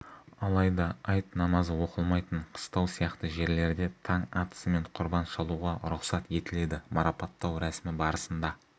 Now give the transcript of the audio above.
алайда айт намазы оқылмайтын қыстау сияқты жерлерде таң атысымен құрбан шалуға рұқсат етіледі марапаттау рәсімі барысында